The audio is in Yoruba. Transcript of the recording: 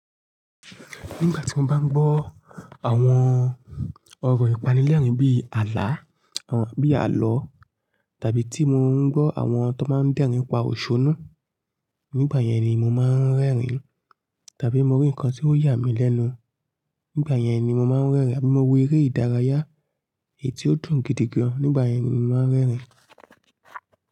Nígbà tí mo bá ń gbọ́ àwọn ọ̀rọ̀ ìpanilẹ́rìn-ín bí àlá, bí àlọ́ tàbí tí mò ń gbọ́ àwọn tó máa ń dẹ́rìn-ín pa òṣónú, nígbà yẹn ni mo máa ń rẹ́rìn-ín tàbí mo rí nǹkan tí ó yà mí lẹ́nu, nígbà yẹn ni mo máa ń rẹ́rìn-ín àbí mo wo eré ìdárayá èyi ti ó dùn gidigan, nígbà yẹn ni mo máa ń rẹ́rìn-ín.